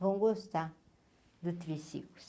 vão gostar do triciclo.